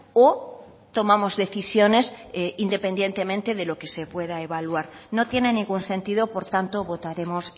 o tomamos decisiones independientemente de lo que se pueda evaluar no tiene ningún sentido por tanto votaremos